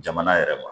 Jamana yɛrɛ ma